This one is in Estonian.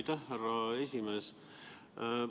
Aitäh, härra esimees!